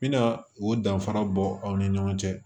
N bɛna o danfara bɔ aw ni ɲɔgɔn cɛ